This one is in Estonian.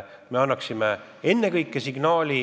Ennekõike me peame andma